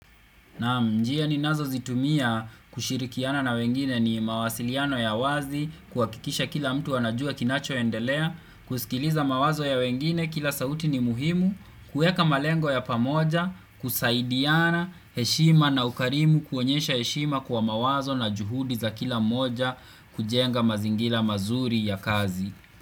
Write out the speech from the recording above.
Njia ninazo zitumia kushirikiana na wengine ni mawasiliano ya wazi, kuhakikisha kila mtu anajua kinacho endelea, kusikiliza mawazo ya wengine, kila sauti ni muhimu, kueka malengo ya pamoja, kusaidiana, heshima na ukarimu, kuonyesha heshima kwa mawazo na juhudi za kila moja, kujenga mazingila mazuri ya kazi.